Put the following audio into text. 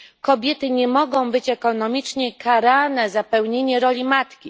Kobiety nie mogą być ekonomicznie karane za pełnienie roli matki.